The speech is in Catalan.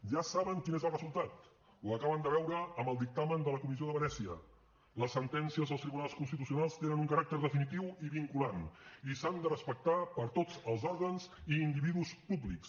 ja saben quin és el resultat ho acaben de veure amb el dictamen de la comissió de venècia les sentències dels tribunals constitucionals tenen un caràcter definitiu i vinculant i s’han de respectar per tots els òrgans i individus públics